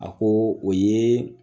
A ko o ye